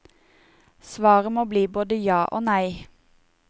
Svaret må bli både ja og nei.